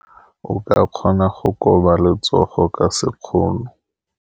O ka kgona go koba letsogo ka sekgono.